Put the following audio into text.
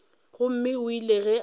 gomme o ile ge a